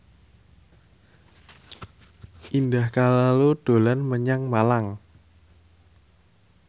Indah Kalalo dolan menyang Malang